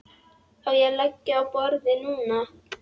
Á ég að leggja á borðið núna?